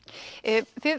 þið